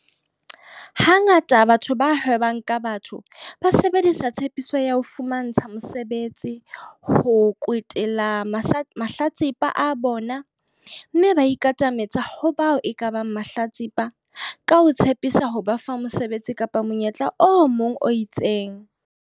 Ha ngata batho ba hwebang ka batho ba sebedisa tshepiso ya ho fumantsha mosebetsi ho kwetela mahlatsipa a bona mme ba ikatametsa ho bao ekabang mahlatsipa ka ho tshepisa ho ba fa mosebetsi kapa monyetla o mong o itseng.